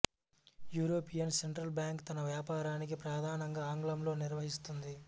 European Central Bank తన వ్యాపారాన్ని ప్రధానంగా ఆంగ్లంలో నిర్వహిస్తుంది